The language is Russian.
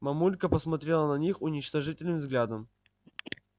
мамулька посмотрела на них уничтожительным взглядом